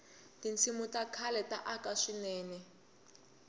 tinsimu ta khale ta aka swinene